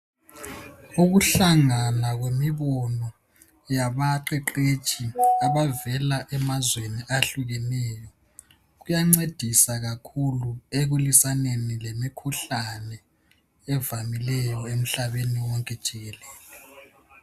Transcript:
Ukuhlangana kwemibono yabaqeqetshi abavela emazweni ahlukeneyo kuyancedisa kakhulu ekulwisaneni lemikhuhlane evamileyo emhlabeni wonke jikelele.